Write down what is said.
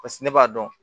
Paseke ne b'a dɔn